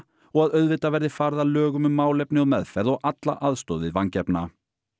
og að auðvitað verði farið að lögum um málefni og meðferð og alla aðstoð við vangefna